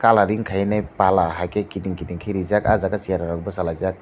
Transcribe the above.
colouring kaine pala haike kiting kiting ke reejak aw jaaga charai rok basalaijak.